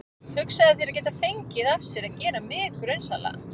Hugsaðu þér að geta fengið af sér að gera mig grunsamlega.